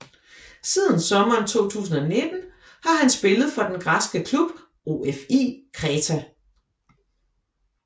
Siden sommeren 2019 har han spillet for den græske klub OFI Kreta